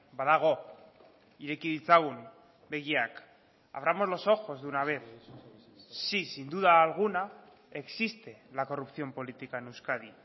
badago ireki ditzagun begiak abramos los ojos de una vez sí sin duda alguna existe la corrupción política en euskadi